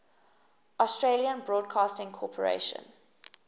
australian broadcasting corporation